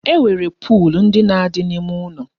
E nwere pol ndị na-adị n'ime ụlọ